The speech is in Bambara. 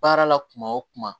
Baara la kuma o kuma